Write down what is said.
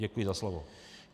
Děkuji za slovo.